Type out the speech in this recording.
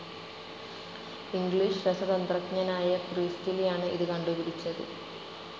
English രസതന്ത്രജ്ഞനായ പ്രീസ്റ്റ്ലിയാണ് ഇത് കണ്ടുപിടിച്ചത്.